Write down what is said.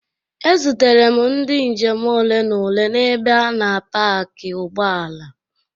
E zutere ndị njem ole na ole n'ebe a na paki ụgbọala.